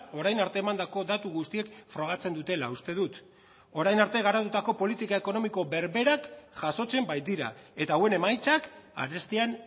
orain arte emandako datu guztiek frogatzen dutela uste dut orain arte garatutako politika ekonomiko berberak jasotzen baitira eta hauen emaitzak arestian